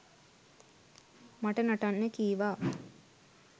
මට නටන්න කීවා